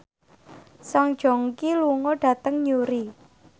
Song Joong Ki lunga dhateng Newry